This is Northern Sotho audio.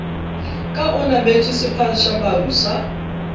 ka o nametše sephatšamaru sa